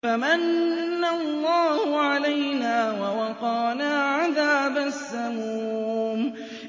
فَمَنَّ اللَّهُ عَلَيْنَا وَوَقَانَا عَذَابَ السَّمُومِ